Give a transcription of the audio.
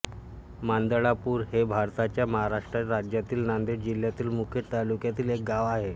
मांदळापूर हे भारताच्या महाराष्ट्र राज्यातील नांदेड जिल्ह्यातील मुखेड तालुक्यातील एक गाव आहे